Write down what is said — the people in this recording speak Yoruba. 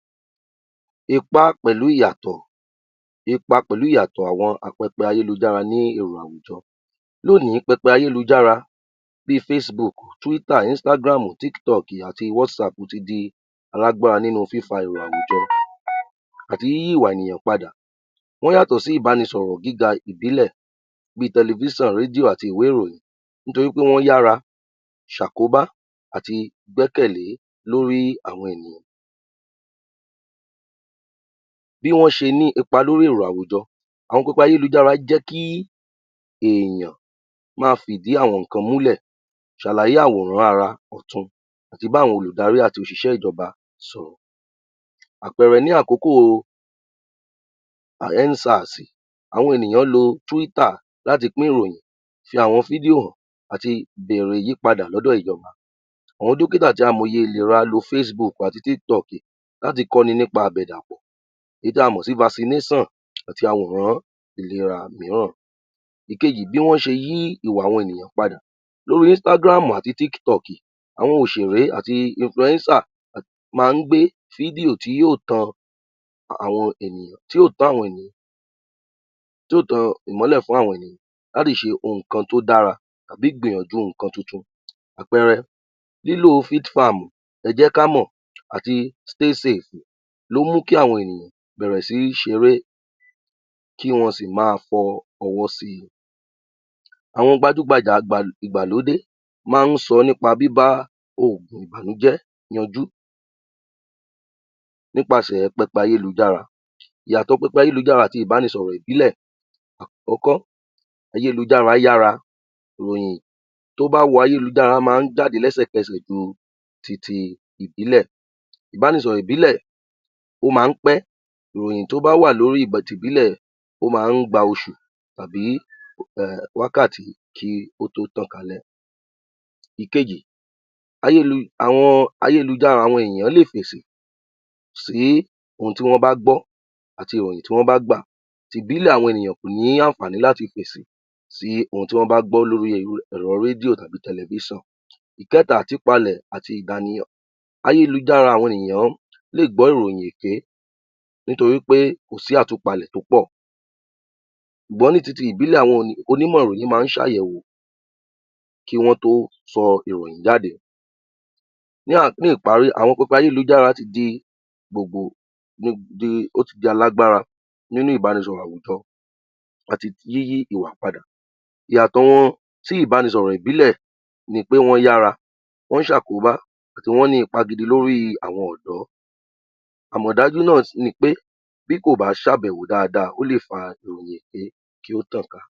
Ipá pẹ̀lú ìyàtọ̀, ipa pẹ̀lú ìyàtọ̀ àwọn apẹpẹ ayélujára ní èrò àwùjọ, lónìí pẹpẹ ayélujára bí (Facebook, Instagram, TikTok, Twitter àti Whatsapp) ti di alágbára nínú fífa èrò àwùjọ àti yíyí ìwà ènìyàn padà, wọ́n yàtọ̀ sí ìbánisọ̀rò gíga ìbìlẹ̀ bí tẹlẹfíṣàn, rédíò àti ìwé ìròyìn nítorí pé wọ́n yára ṣàkóba àti gbẹ́kẹ̀lé lórí àwọn ènìyàn. Bí wọ́n ṣe ní ipa lórí èrò àwùjọ, àwọn pẹpẹ ayélujára jẹ́ kí èèyàn ma fi ìdí àwọn nǹkan múlẹ̀, ṣàlàyé àwọnrán ara ọ̀tun àti bí àwọn olùdarí àti òṣìṣẹ́ ìjọba sọ̀rọ̀. Àpẹẹrẹ, ní àkókò (END SARS) àwọn ènìyàn lo (Twitter) láti pín ìròyìn, fi àwọn fídíò hàn àti bèrè ìyípadè lọ́dọ̀ ìjọba, àwọn dókítà àti amọ̀ye ìlera lo (Facebook àti TikTok) láti kọ́ni nípa àbẹ̀dàpọ èyí tí a mọ sí (Vaccination) àti awòrán ìlera míràn. Èkejì, bí wọ́n ṣe yí ìwà ènìyàn padà, lóri (Instagram àti TikTok) àwọn òṣèré àti (Influencer) máa ń gbé fídíò tí yóò tan tí yóò tán ìmọ́lẹ̀ fún àwọn ènìyàn láti ṣe nǹkan to dára tàbí gbìyànjú nǹkan tun-tun. Àpẹẹrẹ, lílò (FitFarm), Ẹ jẹ́ ká mọ àti (Stay Safe) ló mú kí àwọn ènìyàn bẹ̀rẹ̀ sí ṣeré kí wọn sì ma fọ ọwọ́ si. Àwọn gbajú-gbajà ìgbàlódé máa ń sọ nípa bíbá ògùn ìbànújẹ́ ranjú nípasẹ̀ pẹpẹ ayílujára. Ìyàtọ̀ pẹpẹ ayélujára àti ìbánisọ̀rọ̀ ìbílẹ̀. Àkọ́kọ́, ayélujára yára ròyìn, tó bá wun ayélujára á máa ń jáde lẹ́sẹ̀kẹsẹ̀ ju titi ìbílẹ̀, ìbánisọ̀rọ̀ ìbílẹ̀ ó máa ń pẹ́, ìròyìn tó bá wà lóri ti ìbílẹ̀ ó máa ń gba oṣù tàbí wákàtí kí ó tó tàn kalẹ̀. Ìkejì,, àwọn ayélujára àwọn ènìyàn lè fèsì sí ohun tí wọ́n bá gbọ́ àti ìròyìn tí wọ́n bá gbà, ti ìbílẹ̀, àwọn ènìyàn kò ní ní àǹfàní láti fèsè sí ohun tí wọ́n bá gbọ́ lóri ẹ̀rọ̀ rédíò tàbí tẹlẹfíṣàn. Ìkẹ́ta, àtúpalẹ̀ àti ìdanìyàn, ayélujáre àwọn ènìyàn lè gbọ́ ìròyìn èké nítorí pé kò sí àtúpalẹ̀ tó pọ̀ ṣùgbọ́n ní titi ìbílẹ̀ àwọn onímọ̀ ìròyìn máa ń sàyèwò kí wọ́n tó sọ ìròyìn jáde. Ní ìparí, àwọn pẹpẹ ayélujára ti di gbogbo ó ti di alágbára nínú ìbánisọ̀rọ̀ àwujọ àti yíyí ìwà padà. Ìyàtọ̀ wọn, ti ìbanisọ̀rọ̀ ìbílẹ̀ ni pé wọ́n yára, wọ́n ṣàkóbá àti wọ́n ní ipa gidi lórí àwọn ọ̀dọ́, àmọ̀dájú náà ni pé, bí kò bá ṣàbẹ̀wò daada, ó lè fa ìròyìn èké kí ó tàn ká.